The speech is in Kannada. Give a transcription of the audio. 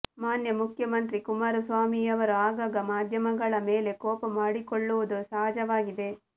ಮಾನ್ಯ ಮುಖ್ಯಮಂತ್ರಿ ಕುಮಾರಸ್ವಾಮಿಯವರು ಆಗಾಗ ಮಾದ್ಯಮಗಳ ಮೇಲೆ ಕೋಪ ಮಾಡಿಕೊಳ್ಳುವುದು ಸಹಜವಾಗಿದೆ